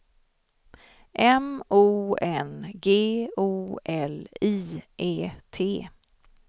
M O N G O L I E T